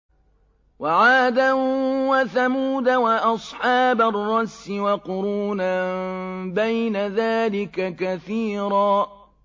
وَعَادًا وَثَمُودَ وَأَصْحَابَ الرَّسِّ وَقُرُونًا بَيْنَ ذَٰلِكَ كَثِيرًا